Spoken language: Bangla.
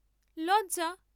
লজ্জা!